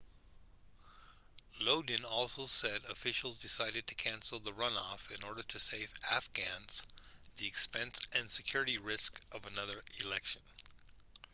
lodin also said officials decided to cancel the runoff in order to save afghans the expense and security risk of another election